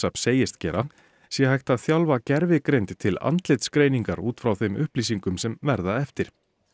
segist gera sé hægt að þjálfa gervigreind til út frá þeim upplýsingum sem verða eftir